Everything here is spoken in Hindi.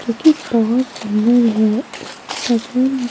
जो कि बहुत सुंदर है उसके --